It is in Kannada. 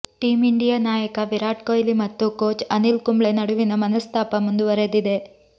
ಟೀಂ ಇಂಡಿಯಾ ನಾಯಕ ವಿರಾಟ್ ಕೊಹ್ಲಿ ಮತ್ತು ಕೋಚ್ ಅನಿಲ್ ಕುಂಬ್ಳೆ ನಡುವಿನ ಮನಸ್ತಾಪ ಮುಂದುವರೆದಿದೆ